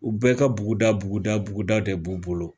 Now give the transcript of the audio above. U bɛɛ ka buguda buguda buguda de b'u bolo